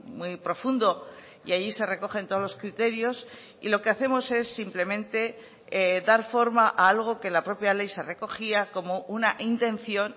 muy profundo y ahí se recogen todos los criterios y lo que hacemos es simplemente dar forma a algo que la propia ley se recogía como una intención